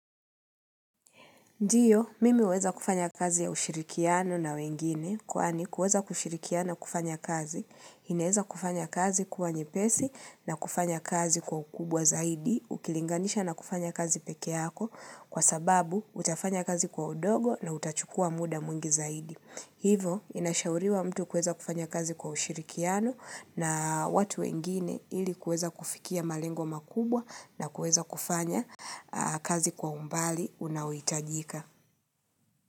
Ndiyo, mimi huweza kufanya kazi ya ushirikiano na wengine, kwani kuweza kushirikiano na kufanya kazi, inaeza kufanya kazi kuwa nyepesi na kufanya kazi kwa ukubwa zaidi, ukilinganisha na kufanya kazi pekee yako, kwa sababu utafanya kazi kwa udogo na utachukua muda mwingi zaidi. Hivo, inashauriwa mtu kuweza kufanya kazi kwa ushirikiano na watu wengine ili kuweza kufikia malengo makubwa na kuweza kufanya kazi kwa umbali unaohitajika.